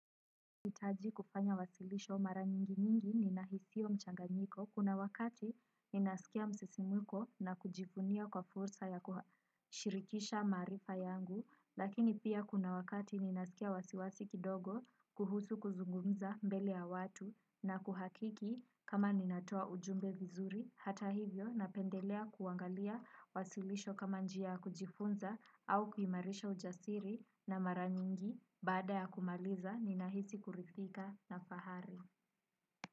Nahitaji kufanya wasilisho mara nyingi nyingi ninahisiwa mchanganyiko kuna wakati ninasikia msisimko na kujivunia kwa fursa ya kushirikisha maarifa yangu lakini pia kuna wakati ninasikia wasiwasi kidogo kuhusu kuzungumza mbele ya watu na kuhakiki kama ninatoa ujumbe vizuri, hata hivyo napendelea kuangalia wasilisho kama njia ya kujifunza au kuimarisha ujasiri na mara nyingi baada ya kumaliza ninahisi kuridhika na fahari.